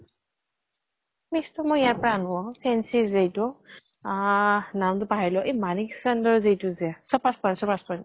premix টো মই ইয়াৰ পৰা আনো অ, fancy যে ইটো আহ নাম্টো পাহৰিলো এ মানিক ছান্দৰ ইটো যে চপাৰ্চ্পাৰ চপাৰ্চ্পাৰ